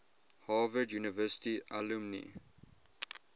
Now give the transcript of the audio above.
harvard university alumni